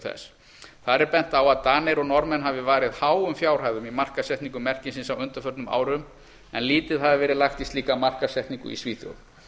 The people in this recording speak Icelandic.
þess þar er bent á að danir og norðmenn hafi varið háum fjárhæðum í markaðssetningu merkisins á undanförnum árum en lítið hafi verið lagt í slíka markaðssetningu í svíþjóð